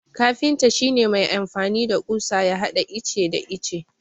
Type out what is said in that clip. Kafinta shi ne mai amfani da ƙusa ya hada ice da ice.